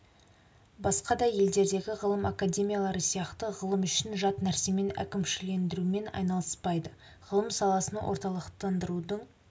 басқа да елдердегі ғылым академиялары сияқты ғылым үшін жат нәрсемен әкімшілендірумен айналыспайды ғылым саласын орталықтандырудың